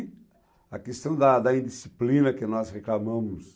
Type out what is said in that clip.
a questão da da indisciplina que nós reclamamos